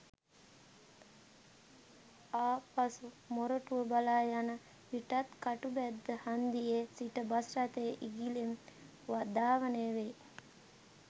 ආපසු මොරටුව බලා යන විටත් කටුබැද්ද හන්දියේ සිට බස් රථය ඉගිලෙමින් ධාවනය වෙයි.